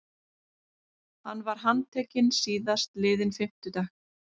Hann var handtekinn síðastliðinn fimmtudag